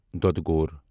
دۄدٕ گوٗر